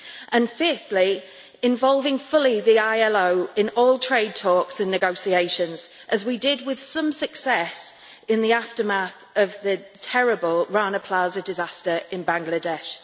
And fifthly, involving fully the ILO in all trade talks and negotiations as we did with some success in the aftermath of the terrible Rana Plaza disaster in Bangladesh.